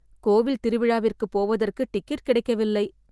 கோவில் திருவிழாவிற்கு போவதற்கு டிக்கெட் கிடைக்கவில்லை.